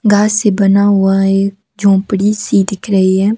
घास से बना हुआ एक झोपड़ी सी दिख रही है।